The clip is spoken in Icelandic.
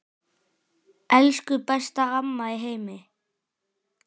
Elsku besta amma í heimi.